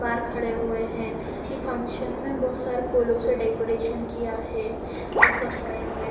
बाहर खड़े हुए हैं इ फंक्शन में बहोत सारे फूलों से डेकोरेशन किया है ऊपर साइड में।